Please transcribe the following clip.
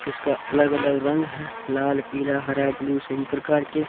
जिसका अलग अलग रंग है लालपिला हरा ब्लू सभी प्रकार के।